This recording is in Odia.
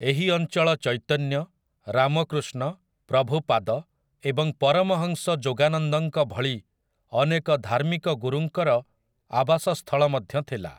ଏହି ଅଞ୍ଚଳ ଚୈତନ୍ୟ, ରାମକୃଷ୍ଣ, ପ୍ରଭୁପାଦ ଏବଂ ପରମହଂସ ଯୋଗାନନ୍ଦଙ୍କ ଭଳି ଅନେକ ଧାର୍ମିକ ଗୁରୁଙ୍କର ଆବାସସ୍ଥଳ ମଧ୍ୟ ଥିଲା ।